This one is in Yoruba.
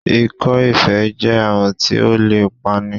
Ikọ́-ifé e jẹ́ àrùn tí ó lè pa ni